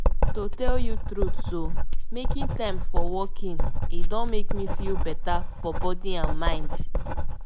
to tell you the truth i mean making time to walk e don make me feel better for body and mind.